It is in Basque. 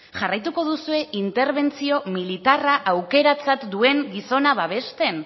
jarraituko duzue interbentzio militarra aukeratzat duen gizona babesten